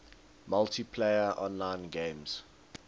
multiplayer online games